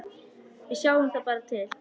Við sjáum bara til.